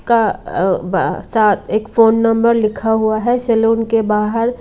का अ बा सा एक फोन नंबर लिखा हुआ है सैलून के बाहर--